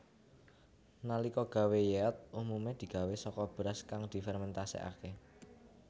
Nalika gawé yeot umume digawé saka beras kang difermentasekake